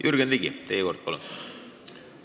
Jürgen Ligi, teie kord, palun!